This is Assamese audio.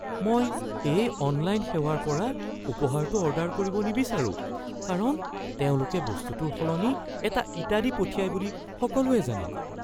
মই এই অনলাইন সেৱাৰ পৰা উপহাৰটো অৰ্ডাৰ কৰিব নিবিচাৰোঁ কাৰণ তেওঁলোকে বস্তুটোৰ সলনি এটা ইটা দি পঠিয়াই বুলি সকলোৱে জানে।